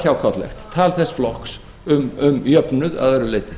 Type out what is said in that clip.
hjákátlegt tal þess flokks um jöfnuð að öðru leyti